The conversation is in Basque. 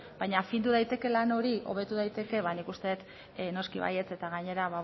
baina findu daiteke lan hori hobetu daiteke ba nik uste dut noski baietz eta gainera